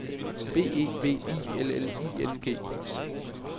B E V I L L I N G